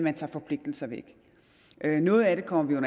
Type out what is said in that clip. at tage forpligtelser væk noget af det kommer vi